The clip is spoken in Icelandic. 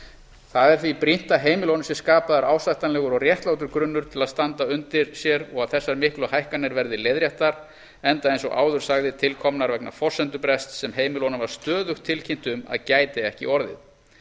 það er því brýnt að heimilunum sé skapaður ásættanlegur og réttlátur grunnur til að standa undir sér og að þessar miklu hækkanir verði leiðréttar enda eins og áður sagði til komnar vegna forsendubrests sem heimilunum var stöðugt tilkynnt um að gæti ekki orðið